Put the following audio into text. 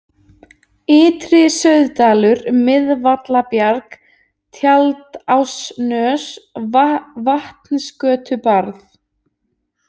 Ytri-Sauðdalur, Miðvallabjarg, Tjaldássnös, Vatnsgötubarð